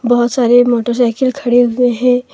बहुत सारे मोटरसाइकिल खड़े हुए हैं।